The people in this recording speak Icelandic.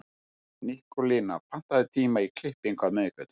Nikólína, pantaðu tíma í klippingu á miðvikudaginn.